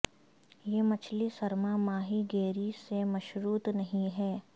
یہ مچھلی سرما ماہی گیری سے مشروط نہیں ہے